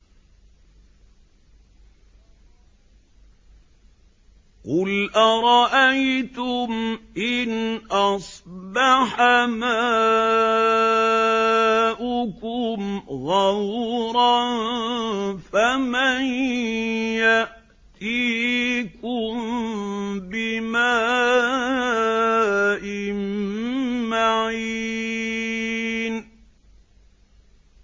قُلْ أَرَأَيْتُمْ إِنْ أَصْبَحَ مَاؤُكُمْ غَوْرًا فَمَن يَأْتِيكُم بِمَاءٍ مَّعِينٍ